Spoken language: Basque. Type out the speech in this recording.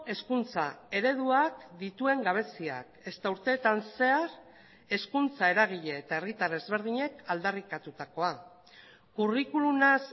hezkuntza ereduak dituen gabeziak ezta urteetan zehar hezkuntza eragile eta herritar ezberdinek aldarrikatutakoa curriculumaz